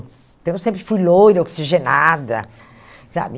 Então, eu sempre fui loira, oxigenada, sabe?